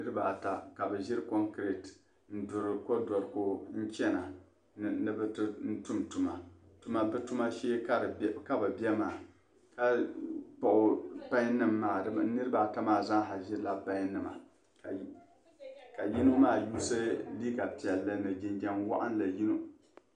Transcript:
Niriba ata ka bɛ ʒiri konkireti n-duri kodoriko n-chana ni bɛ du n-tum tuma bɛ tuma shee ka bɛ be maa ka kpuɣi payinima maa niriba ata maa zaa ʒirila payinima ka yino maa yuusi liiga piɛlli ni jinjam waɣinli.